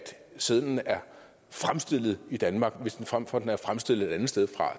sedlen er fremstillet i danmark frem for at den er fremstillet et andet sted